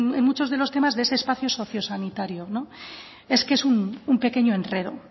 en muchos de los temas de ese espacio socio sanitario es que es un pequeño enredo